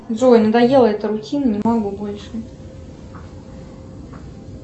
джой надоела эта рутина не могу больше